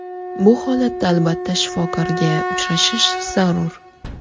Bu holatda albatta, shifokorga uchrashish zarur.